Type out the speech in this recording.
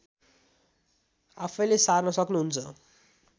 आफैँले सार्न सक्नुहुन्छ